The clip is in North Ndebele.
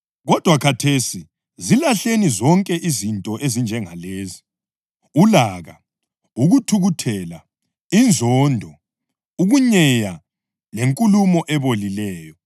Kodwa khathesi zilahleni zonke izinto ezinjengalezi: ulaka, ukuthukuthela, inzondo, ukunyeya lenkulumo ebolileyo.